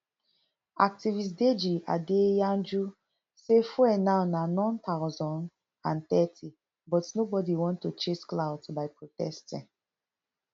activist deji adeyanju say fuel now na none thousand and thirty but nobody want to chase clout by protesting